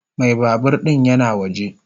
Mai babur din yana waje.